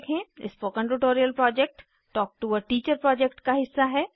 spoken tutorial project talk to a teacher project का हिस्सा है